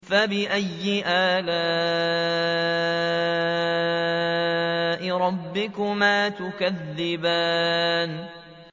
فَبِأَيِّ آلَاءِ رَبِّكُمَا تُكَذِّبَانِ